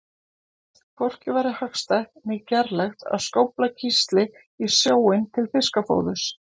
Hvorki væri hagstætt né gerlegt að skófla kísli í sjóinn til fiskafóðurs.